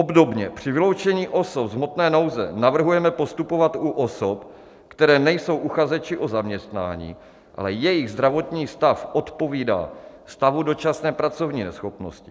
Obdobně při vyloučení osob z hmotné nouze navrhujeme postupovat u osob, které nejsou uchazeči o zaměstnání, ale jejich zdravotní stav odpovídá stavu dočasné pracovní neschopnosti.